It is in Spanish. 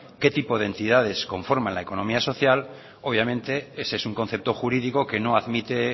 qué tipo de entidades conforman la economía social obviamente ese es un concepto jurídico que no admite